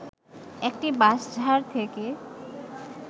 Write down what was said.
একটি বাঁশঝাড় থেকে